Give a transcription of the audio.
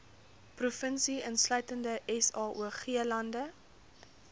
provinsie insluitende saoglande